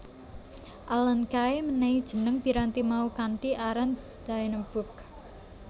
Alan Kay menehi jeneng piranti mau kanthi aran Dynabook